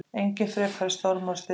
Engir frekari stormar og styrjaldir!